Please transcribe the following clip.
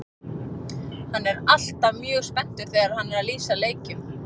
Hann er alltaf mjög spenntur þegar hann er að lýsa leikjum.